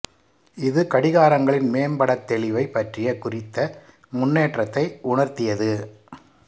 இது கடிகாரங்களின் மேம்பட தெளிவை பற்றிய குறித்த முன்னேற்றத்தை உணர்த்தியது